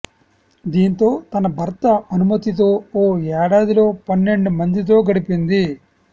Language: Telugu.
దీంతో తన భర్త అనుమతితో ఓ ఏడాదిలో పన్నెండు మందితో గడిపింది